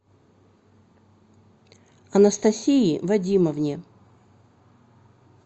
анастасии вадимовне